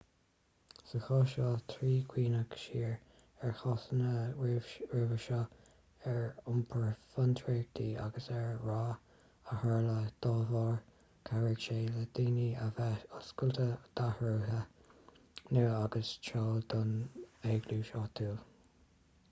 sa chás seo trí chuimhneach siar ar chásanna roimhe seo ar iompar fiontraíochta agus an rath a tharla dá bharr chabhraigh sé le daoine a bheith oscailte d'athruithe nua agus treo nua don eaglais áitiúil